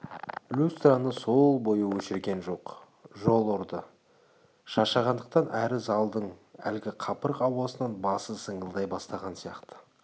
люстраны сол бойы өшірген жоқ жол ұрды боп шаршағандықтан әрі залдың әлгі қапырық ауасынан басы зыңылдай бастаған сияқты